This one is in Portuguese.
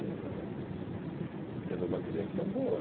Ela teve uma criação boa.